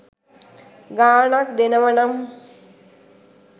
ගාණක් දෙනවනම්